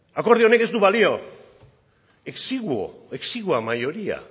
akordio honek ez du balio exigua mayoría